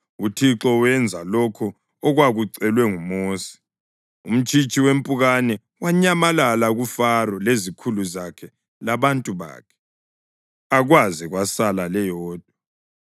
UThixo wenza lokho okwakucelwe nguMosi, umtshitshi wempukane wanyamalala kuFaro lezikhulu zakhe labantu bakhe, akwaze kwasala leyodwa.